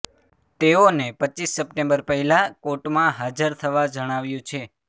તેઓને રપ સપ્ટેમ્બર પહેલાં કોર્ટમાં હાજર થવા જણાવ્યું છે